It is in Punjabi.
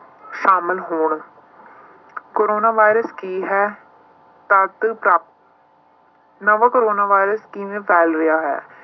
ਸ਼ਾਮਲ ਹੋਣ ਕੋਰੋਨਾ ਵਾਇਰਸ ਕੀ ਹੈ ਤਦ ਨਵਾਂ ਕੋਰੋਨਾ ਵਾਇਰਸ ਕਿਵੇਂ ਫੈਲ ਰਿਹਾ ਹੈ।